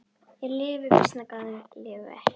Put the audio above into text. Ég lifi býsna góðu lífi!